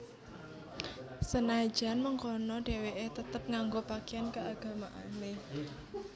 Senajan mengkono déwéké tetep nganggo pakaian keagamaané